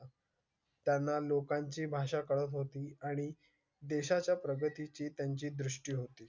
त्यांना लोकांची भाषा करत होती आणि देशाच्या प्रगती ची त्यांची दृष्टी होती.